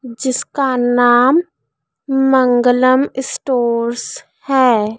जिसका नाम मंगलम स्टोर्स है।